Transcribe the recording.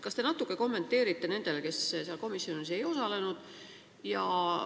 Kas te natuke kommenteerite nendele, kes komisjoni istungil ei osalenud?